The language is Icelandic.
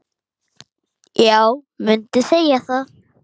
Já, mundi segja það.